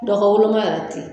Dɔgɔ woloma yɛrɛ te yen.